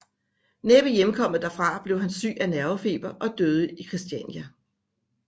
Næppe hjemkommet derfra blev han syg af nervefeber og døde i Kristiania